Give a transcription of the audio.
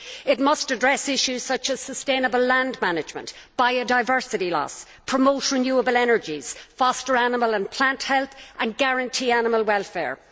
It must address issues such as sustainable land management and biodiversity loss, promote renewable energies, foster animal and plant health and guarantee animal welfare.